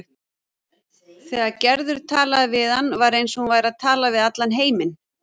Þegar Gerður talaði við hann var eins og hún væri að tala við allan heiminn.